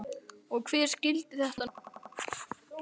Og hver skyldi þetta nú vera?